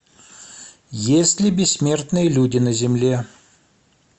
есть ли бессмертные люди на земле